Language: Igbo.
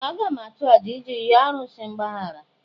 Ee! Aga m achụ àjà iji yọọ arụsị mgbaghara.